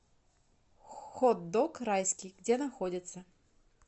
хот дог райский где находится